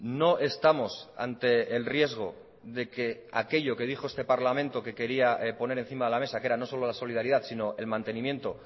no estamos ante el riesgo de que aquello que dijo este parlamento que quería poner encima de la mesa que era no solo la solidaridad sino el mantenimiento